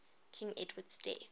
king edward's death